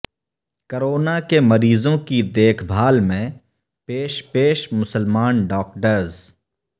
corona کے مریضوں کی دیکھ بھال میں پیش پیش مسلمان ڈاکٹرز